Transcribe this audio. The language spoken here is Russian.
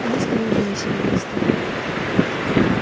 они скорее были серебристыми